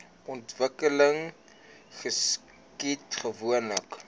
ontwikkeling geskied gewoonlik